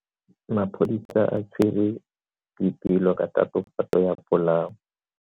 Maphodisa a tshwere Boipelo ka tatofatso ya polao.